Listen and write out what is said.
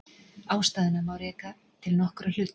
Ástæðuna má reka til nokkurra hluta.